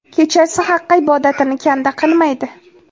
Kechasi Haqqa ibodatini kanda qilmaydi.